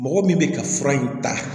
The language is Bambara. Mɔgɔ min bɛ ka fura in ta